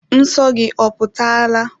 Nsọ gị oputala?